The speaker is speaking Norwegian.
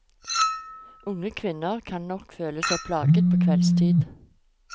Unge kvinner kan nok føle seg plaget på kveldstid.